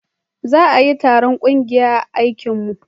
za a yi taron ƙungiyar aikin mu